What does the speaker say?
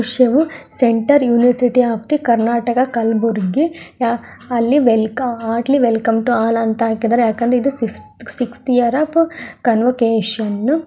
Centre university of the Karnataka Kalaburagi ಅಲ್ಲಿ welcome heartly welcome to all ಅಂತ ಹಾಕಿದರೆ ಯಾಕೆ ಅಂದರೆ ಸಿಕ್ಸ್ಥ್ ಇಯರ್ ಆಫ್ ಕಾನ್ವೋಕೆಶನ್ .